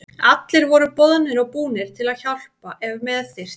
Allir voru boðnir og búnir til að hjálpa ef með þurfti.